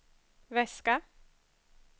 väska